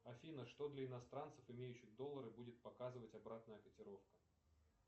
афина что для иностранцев имеющих доллары будет показывать обратная котировка